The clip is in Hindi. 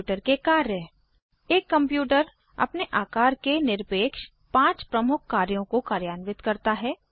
कंप्यूटर के कार्य एक कंप्यूटर अपने आकार के निरपेक्ष पाँच प्रमुख कार्यों को कार्यान्वित करता है